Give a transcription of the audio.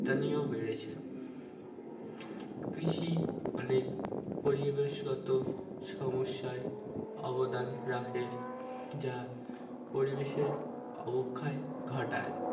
তানিয়া বেড়েছে কৃষি অনেক পরিবেশ কত সমস্যাই অবদান রাখে যা পরিবেশে অবক্ষয় ঘটায়